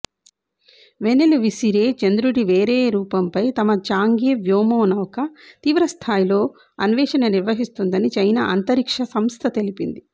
వెన్నెలు విసిరే చంద్రుడి వేరే రూపంపై తమ ఛాంగే వ్యోమనౌక తీవ్రస్థాయిలో అన్వేషణ నిర్వహిస్తుందని చైనా అంతరిక్ష సంస్థతెలిపింది